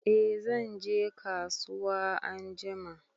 Eh zan je kasuwa anjima.